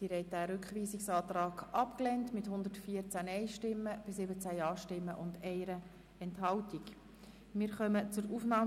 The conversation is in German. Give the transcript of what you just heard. Sie haben den Rückweisungsantrag mit 17 Ja- gegen 114 Nein-Stimmen bei 1 Enthaltung abgelehnt.